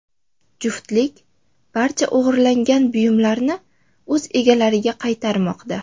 Juftlik barcha o‘g‘irlangan buyumlarni o‘z egalariga qaytarmoqda.